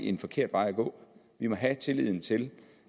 en forkert vej at gå vi må have tilliden til